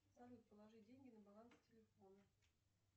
салют положи деньги на баланс телефона